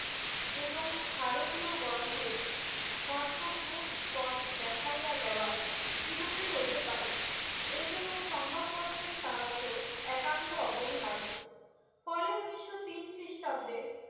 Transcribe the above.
এবং ভারতীয়গনকে কর্তব্য পথ দেখাইয়া দেওয়া কিরুপে হইতে পারে এ জন্য সংবাদ পত্রের সাহায্য একান্ত অপরিহায্য ফলে উনিশশো তিন খ্রিস্টাব্দে